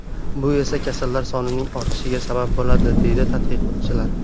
Bu esa kasallar sonining ortishiga sabab bo‘ladi”, deydi tadqiqotchilar.